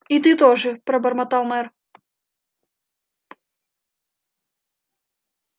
и ты тоже пробормотал мэр